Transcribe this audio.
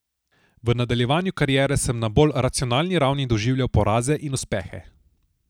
V nadaljevanju kariere sem na bolj racionalni ravni doživljal poraze in uspehe.